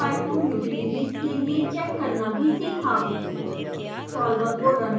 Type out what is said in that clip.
हमने विभिन्न pyfoam utilities के लिए चैक करना भी सीखा